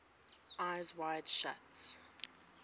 eyes wide shut